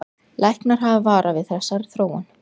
Læknar hafa varað við þessari þróun